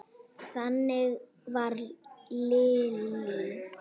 Þannig var Lillý.